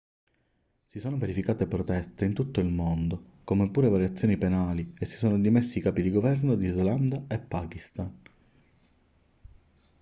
si sono verificate proteste in tutto il mondo come pure varie azioni penali e si sono dimessi i capi di governo di islanda e pakistan